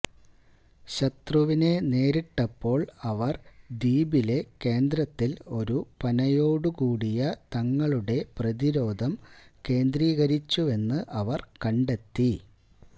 ശത്രുവിനെ നേരിട്ടപ്പോൾ അവർ ദ്വീപിലെ കേന്ദ്രത്തിൽ ഒരു പനയോടുകൂടിയ തങ്ങളുടെ പ്രതിരോധം കേന്ദ്രീകരിച്ചുവെന്ന് അവർ കണ്ടെത്തി